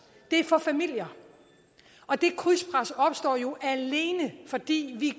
er for familier og det krydspres opstår jo alene fordi vi